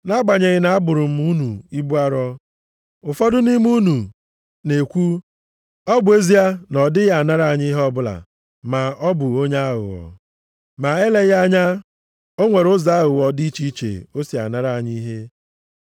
Nʼagbanyeghị na-abụrụ m unu ibu arọ, ụfọdụ nʼime unu na-ekwu, ọ bụ ezie na ọ dịghị anara anyị ihe ọbụla, maọbụ onye aghụghọ. Ma eleghị anya, o nwere ụzọ aghụghọ dị iche iche o si anara anyị ihe.